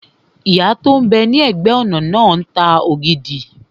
Ìyá tó n bẹ ní ẹ̀gbẹ́-ọ̀nà náà ń ta ògidì